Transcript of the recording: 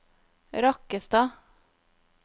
Rakkestad